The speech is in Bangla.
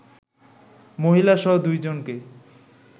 মহিলাসহ দুইজনকে